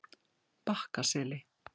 Bakkaseli